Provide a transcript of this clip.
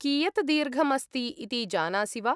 कियत् दीर्घम् अस्ति इति जानासि वा?